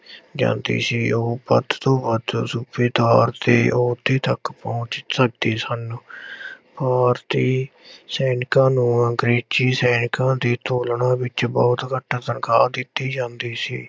ਜਾਂਦੀ ਸੀ ਉਹ ਵੱਧ ਤੋ ਵੱਧ ਸੂਬੇਦਾਰ ਦੇ ਅਹੁਦੇ ਤੱਕ ਪਹੁੰਚ ਸਕਦੇ ਸਨ ਭਾਰਤੀ ਸੈਨਿਕਾਂ ਨੂੰ ਅੰਗਰੇਜ਼ੀ ਸੈਨਿਕਾਂ ਦੀ ਤੁਲਨਾ ਵਿੱਚ ਬਹੁੁਤ ਘੱਟ ਤਨਖ਼ਾਹ ਦਿੱਤੀ ਜਾਂਦੀ ਸੀ।